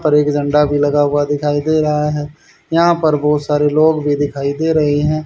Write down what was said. पर एक झंडा भी लगा हुआ दिखाई दे रहा है यहां पर बहुत सारे लोग भी दिखाई दे रहे हैं।